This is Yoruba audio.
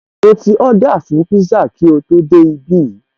Mo ti Ọ́dà fún pízá kí o tó dé ibí